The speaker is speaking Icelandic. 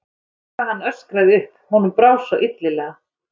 Lá við að hann öskraði upp, honum brá svo illilega.